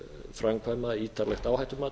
framkvæma ítarlegt áhættumat